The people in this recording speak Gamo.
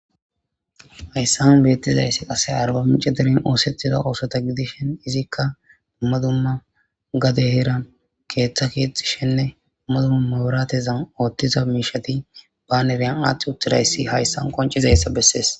Hayssan beettizayssi qase arba mici diren oosetida oosota gidishen izikka ummadumma gade heeran keeththa keexxi shenne ummadumma maburatezan oothtiza miishati baanereyan aathth uttidayssi hayssan qoncizayssa bessees.